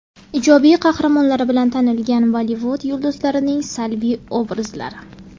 Ijobiy qahramonlari bilan tanilgan Bollivud yulduzlarining salbiy obrazlari .